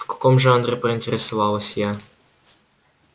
в каком жанре поинтересовалась я